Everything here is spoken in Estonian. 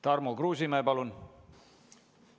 Tarmo Kruusimäe, palun!